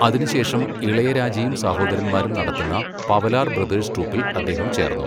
അതിനുശേഷം ഇളയരാജയും സഹോദരന്മാരും നടത്തുന്ന, പവലാർ ബ്രദേഴ്സ് ട്രൂപ്പിൽ അദ്ദേഹം ചേർന്നു.